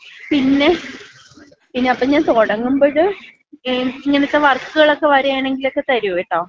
പിന്നെ അപ്പൊ പിന്ന ഞാൻ തുടങ്ങുമ്പഴ് ഇങ്ങനത്ത വർക്ക് കളക്ക വരുവാണെങ്കി എനിക്ക് തരൂ. കേട്ടോ.